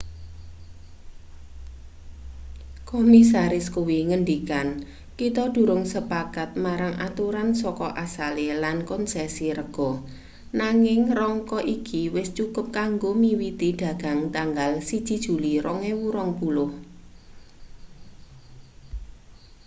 komisaris kuwi ngendikan kita durung sepakat marang aturan saka asale lan kon[s]esi rega nanging rangka iki wis cukup kanggo miwiti dagang tanggal 1 juli 2020